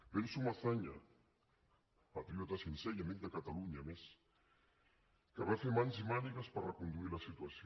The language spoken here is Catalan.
penso en azaña patriota sincer i amic de catalunya a més que va fer mans i mànigues per reconduir la situació